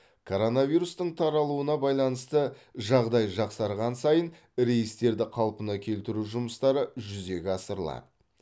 коронавирустың таралуына байланысты жағдай жақсарған сайын рейстерді қалпына келтіру жұмыстары жүзеге асырылады